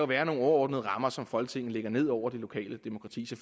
være nogle overordnede rammer som folketinget lægger ned over det lokale demokrati